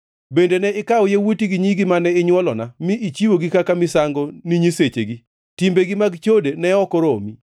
“ ‘Bende ne ikawo yawuoti gi nyigi mane inywolona mi ichiwogi kaka misango ni nyisechegi. Timbegi mag chode ne ok oromi?